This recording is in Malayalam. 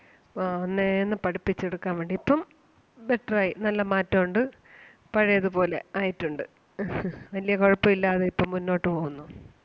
ഒന്നേന്ന് പഠിപ്പിച്ചെടുക്കാൻ വേണ്ടി ഇപ്പം better ആയി നല്ല മാറ്റം ഒണ്ട് പഴേത് പോലെ ആയിട്ടുണ്ട്. വലിയ കുഴപ്പം ഇല്ലാതെ ഇപ്പം മുന്നോട്ട് പോകുന്നു.